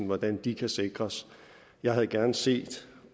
hvordan de kan sikres jeg havde gerne set